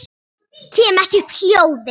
Kem ekki upp hljóði.